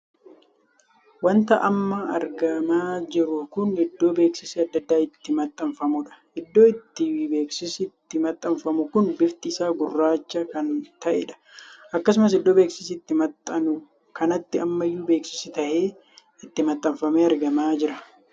Wanti amma argamaa jiru kun iddoo beekisi addaa addaa itti maxxanfamuudha. iddoo itti beeksisi itti maxxanfamu kun bifti isaa gurraacha kan taheedha. akkasumas iddoo beekisi itti maxxanu kanatti ammayyuu beeksisi tahee itti maxxanfamee argamaa jira.